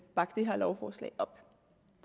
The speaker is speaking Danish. bakke det her lovforslag op